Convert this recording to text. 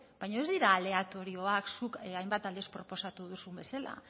baino ez dira aleatorioak zuk hainbat aldiz proposatu duzun bezala